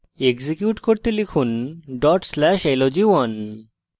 execute করতে লিখুন dot slash log1